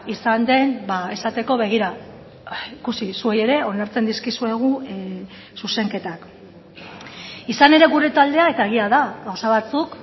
izan den esateko begira ikusi zuei ere onartzen dizkizuegu zuzenketak izan ere gure taldea eta egia da gauza batzuk